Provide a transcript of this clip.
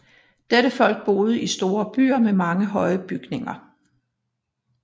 Dette folk boede i store byer med mange høje bygninger